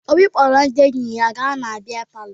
Obi kpọrọ ndị enyi ya gaa na bịa palọ